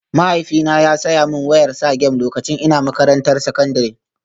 Mahaifina ya saya min wayar Sagem lokacin ina makarantar sakandare